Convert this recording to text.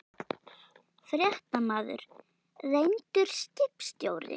Fréttamaður: Reyndur skipstjóri?